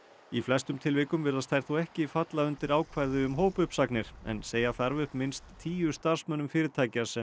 í flestum tilvikum virðast þær þó ekki falla undir ákvæði um hópuppsagnir en segja þarf upp minnst tíu starfsmönnum fyrirtækja sem